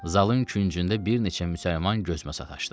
Zalın küncündə bir neçə müsəlman gözümə sataşdı.